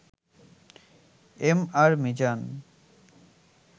MR Mizan